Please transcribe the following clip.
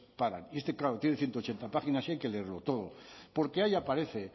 paran y este claro tiene ciento ochenta páginas y hay que leerlo todo porque ahí aparece